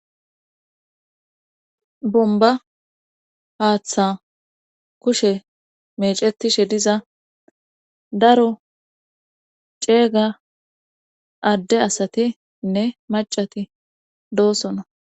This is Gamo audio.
Bomba haaththa kushe mecetishe diza daro ceega adde asatiinne macati doosona.